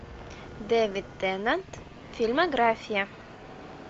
дэвид теннант фильмография